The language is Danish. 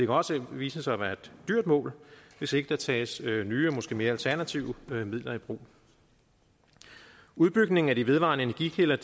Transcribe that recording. også vise sig at være et dyrt mål hvis ikke der tages nye og måske mere alternative midler i brug udbygningen af de vedvarende energikilder